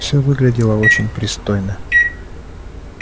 все выглядело очень пристойно